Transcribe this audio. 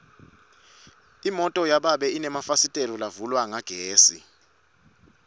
imoto yababe inemafasitela lavulwa ngagesi